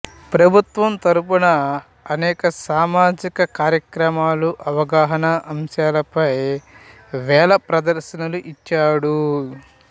ప్రభుత్వం తరపున అనేక సామాజిక కార్యక్రమాలు అవగాహన అంశాలపై వేల ప్రదర్శనలు ఇచ్చాడు